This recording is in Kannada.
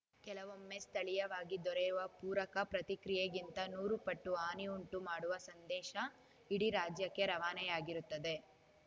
ಕೆಲವೊಮ್ಮೆ ಸ್ಥಳೀಯವಾಗಿ ದೊರೆಯುವ ಪೂರಕ ಪ್ರತಿಕ್ರಿಯೆಗಿಂತ ನೂರು ಪಟ್ಟು ಹಾನಿ ಉಂಟುಮಾಡುವ ಸಂದೇಶ ಇಡೀ ರಾಜ್ಯಕ್ಕೆ ರವಾನೆಯಾಗಿರುತ್ತದೆ